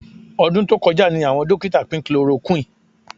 Ọdún tó kọjá ni àwọn dókítà pín chloroquine